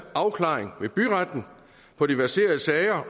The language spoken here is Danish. afklaring ved byretten på de verserende sager